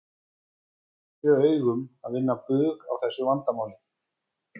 Er það fyrir augum að vinna bug á þessu vandamáli?